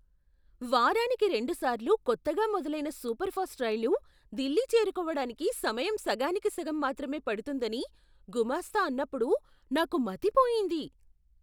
వారానికి రెండుసార్లు కొత్తగా మొదలైన సూపర్ ఫాస్ట్ రైలు ఢిల్లీ చేరుకోవడానికి సమయం సగానికి సగం మాత్రమే పడుతుందని గుమస్తా అన్నప్పుడు నాకు మతి పోయింది!